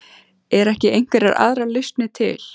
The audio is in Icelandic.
Eru ekki einhverjar aðrar lausnir til?